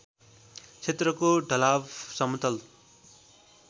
क्षेत्रको ढलाव समतल